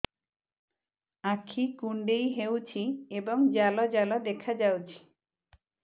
ଆଖି କୁଣ୍ଡେଇ ହେଉଛି ଏବଂ ଜାଲ ଜାଲ ଦେଖାଯାଉଛି